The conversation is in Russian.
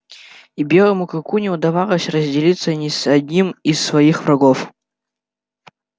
и белому клыку не удавалось разделиться ни с одним из своих врагов